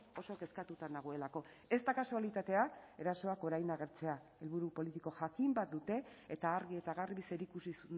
oso kezkatuta nagoelako ez da kasualitatea erasoak orain agertzea helburu politiko jakin bat dute eta argi eta garbi zerikusi